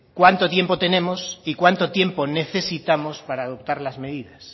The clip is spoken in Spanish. cuándo tiempo tenemos y cuánto tiempo necesitamos para adoptar las medidas